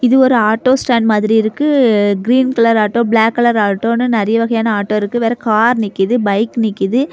இது ஒரு auto stand மாதிரி இருக்கு green colour auto black colour ஆட்டோனு நறைய வகையான ஆட்டோ இருக்கு வேற கார் நிக்குது பைக் நிக்குது.